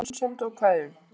Með vinsemd og kveðjum